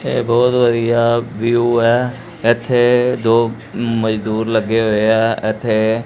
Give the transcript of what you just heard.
ਇਹ ਬਹੁਤ ਵਧੀਆ ਵਿਊ ਹੈ ਇਥੇ ਦੋ ਮਜ਼ਦੂਰ ਲੱਗੇ ਹੋਏ ਐ ਇਥੇ--